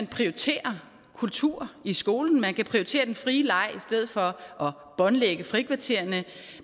prioritere kultur i skolen man kan prioritere den frie leg i stedet for at båndlægge frikvartererne